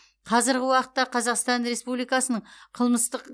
қазіргі уақытта қазақстан республикасының қылмыстық